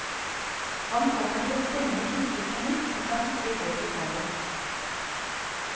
Han kommer til å stenge kirken på nytt hvis han ikke får vikarer.